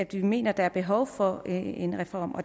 vi mener der er behov for en reform